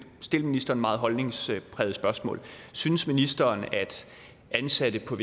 stille ministeren et meget holdningspræget spørgsmål synes ministeren at ansatte på